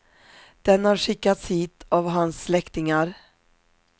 Den har skickats hit av hans släktingar.